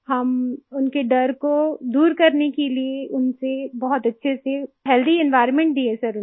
हम उनके डर को दूर करने के लिए उनसे बहुत अच्छे से हेल्थी एनवायर्नमेंट दिए सर उन्हें